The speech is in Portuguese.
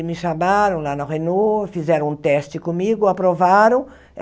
E me chamaram lá na Renault, fizeram um teste comigo, aprovaram.